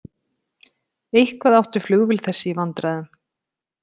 Eitthvað átti flugvél þessi í vandræðum.